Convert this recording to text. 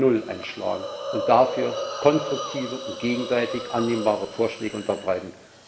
2.0 einschlagen und dafür konstruktive und gegenseitig annehmbare Vorschläge unterbreiten.